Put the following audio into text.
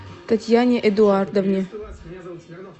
татьяне эдуардовне